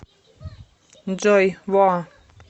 джой воа